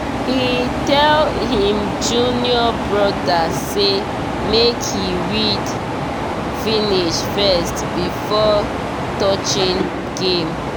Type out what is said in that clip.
he tell him junior brother say make he read finish first before touching game